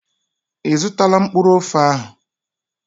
I zụtala mkpụrụ ofe ahụ?